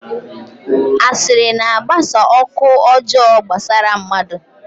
Asịrị na-agbasa ọkụ ọjọọ gbasara mmadụ.